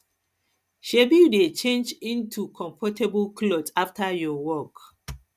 shebi you dey change into into comfortable clothes after your work